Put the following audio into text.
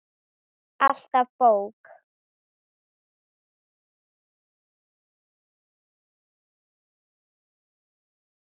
Alltaf bók.